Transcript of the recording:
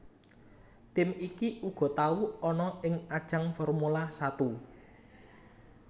Tim iki uga tau ana ing ajang Formula Satu